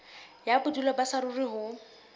ya bodulo ba saruri ho